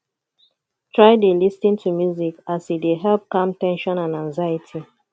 try dey lis ten to music as e dey help calm ten sion and anxiety